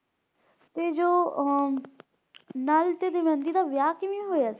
ਤੇ ਜੋ ਅਹ ਨਲ ਤੇ ਦਮਯੰਤੀ ਦਾ ਵਿਆਹ ਕਿਵੇਂ ਹੋਇਆ?